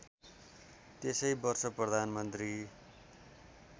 त्यसै वर्ष प्रधानमन्त्री